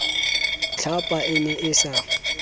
tlhapa e ne e sa